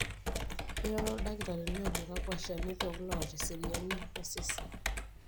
eroro oldakitari ajo kakua shanitok loota eseriani na sidan.